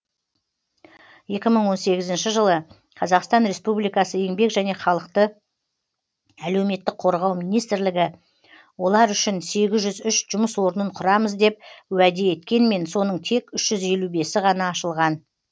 екі мың он сегізінші жылы қазақстан республикасы еңбек және халықты әлеуметтік қорғау министрлігі олар үшін сегіз жүз үш жұмыс орнын құрамыз деп уәде еткенмен соның тек үш жүз елу бесі ғана ашылған